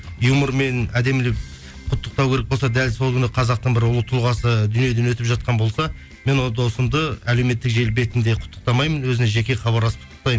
юмормен әдемілеп құттықтау керек болса дәл сол күні қазақтың бір ұлы тұлғасы дүниеден өтіп жатқан болса мен ол досымды әлеуметтік желі бетінде құттықтамайын өзіне жеке хабарласып құттықтаймын